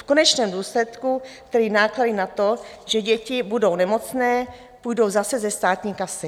V konečném důsledku tedy náklady na to, že děti budou nemocné, půjdou zase ze státní kasy.